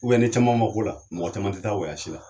ni caman ma k'o la mɔgɔ caman tɛ taa la